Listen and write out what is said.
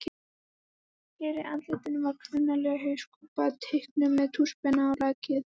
Fyrir andlitinu var klunnaleg hauskúpa, teiknuð með tússpenna á lakið.